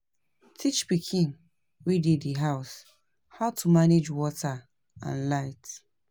Teach pikin wey dey di house how to manage water and light